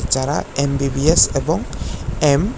যারা এম_বি_বি_এস এবং এম --